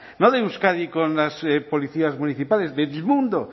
en euskadi con las policías municipales del mundo